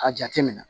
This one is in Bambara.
A jate minɛ